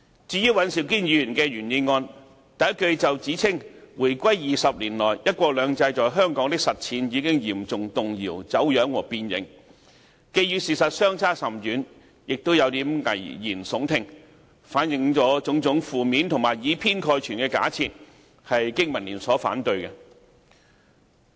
至於尹兆堅議員的原議案，首句就指"回歸20年來，'一國兩制'在香港的實踐已經嚴重動搖、走樣和變形"，既與事實相差甚遠，也有點危言聳聽，反映了種種負面和以偏概全的假設，香港經濟民生聯盟因而反對。